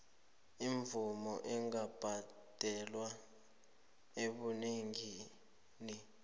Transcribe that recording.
imivuzo ingabhadelwa ebunengini